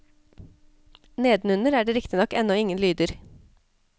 Nedenunder er det riktignok ennå ingen lyder.